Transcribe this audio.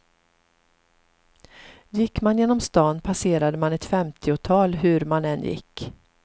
Gick man genom stan passerade man ett femtiotal hur man än gick.